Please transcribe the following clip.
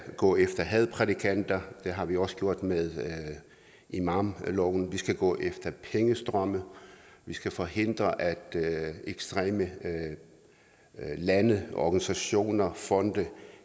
gå efter hadprædikanter og det har vi også gjort med imamloven vi skal gå efter pengestrømme vi skal forhindre at ekstreme lande organisationer og fonde